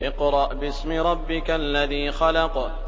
اقْرَأْ بِاسْمِ رَبِّكَ الَّذِي خَلَقَ